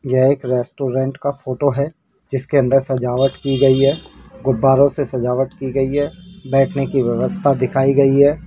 यह एक रेस्टोरेंट का फोटो है जिसके अंदर सजावट की गई है गुब्बारों से सजावट की गई है बैठने की व्यवस्था दिखाई गई है।